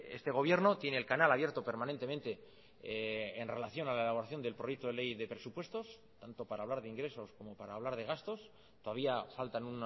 este gobierno tiene el canal abierto permanentemente en relación a la elaboración del proyecto de ley de presupuestos tanto para hablar de ingresos como para hablar de gastos todavía faltan